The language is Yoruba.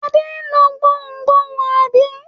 Adé lọ gbohùngbohùn, àbí?